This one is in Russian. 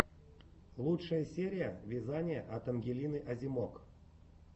лучшая серия вязание от ангелины озимок